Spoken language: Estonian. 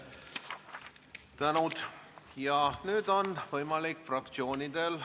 Nüüd on võimalik fraktsioonidel ...